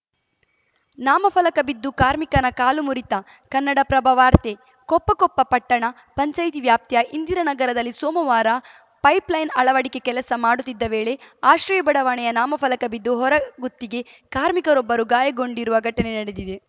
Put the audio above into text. ನಾಮಫಲಕ ಬಿದ್ದು ಕಾರ್ಮಿಕನ ಕಾಲು ಮುರಿತ ಕನ್ನಡಪ್ರಭ ವಾರ್ತೆ ಕೊಪ್ಪ ಕೊಪ್ಪ ಪಟ್ಟಣ ಪಂಚಾಯಿತಿ ವ್ಯಾಪ್ತಿಯ ಇಂದಿರಾನಗರದಲ್ಲಿ ಸೋಮವಾರ ಪೈಪ್‌ಲೈನ್‌ ಅಳವಡಿಕೆ ಕೆಲಸ ಮಾಡುತ್ತಿದ್ದ ವೇಳೆ ಆಶ್ರಯ ಬಡಾವಣೆಯ ನಾಮಫಲಕ ಬಿದ್ದು ಹೊರಗುತ್ತಿಗೆ ಕಾರ್ಮಿಕರೊಬ್ಬರು ಗಾಯಗೊಂಡಿರುವ ಘಟನೆ ನಡೆದಿದೆ